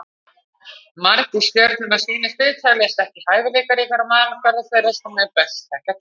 Margir stjörnur á sínu sviði teljast ekki hæfileikaríkar á mælikvarða þeirra sem best þekkja til.